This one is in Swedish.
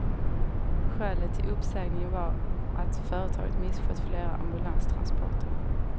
Skälet till uppsägningen var att företaget misskött flera ambulanstransporter.